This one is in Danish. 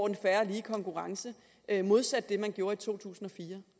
en fair og lige konkurrence modsat det man gjorde i totusinde